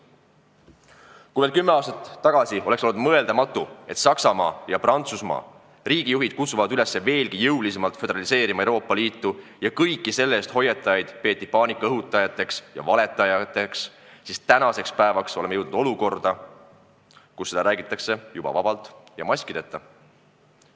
Kui veel kümme aastat tagasi oleks olnud mõeldamatu, et Saksamaa ja Prantsusmaa riigijuhid kutsuvad üles veelgi jõulisemalt Euroopa Liitu föderaliseerima ja kõiki selle eest hoiatajaid peetakse paanikaõhutajateks ja valetajateks, siis tänaseks päevaks oleme jõudnud olukorda, kus seda räägitakse juba vabalt ja maskideta.